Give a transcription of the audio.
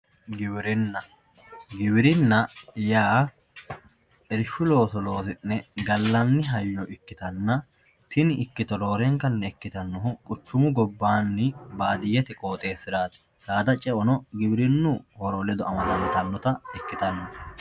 giwirinna, giwirinna yaa irshu looso loosi'ne gallanni hayyo ikkitanna tini ikkito roorenkanni ikkitannohu quchumu gobbaanni baadiyyete qooxeessiraati saada ce"ono giwirinnu horo ledo amadantannota ikkitanno